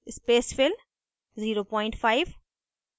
spacefill 05